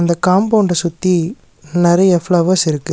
Compound சுத்தி நெறைய flowers இருக்குது.